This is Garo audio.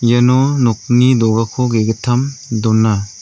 iano nokni do·gako ge·gittam dona.